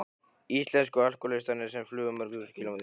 Íslensku alkohólistarnir sem flugu mörg þúsund kílómetra til